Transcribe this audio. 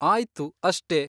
ಆಯ್ತು ಅಷ್ಟೇ.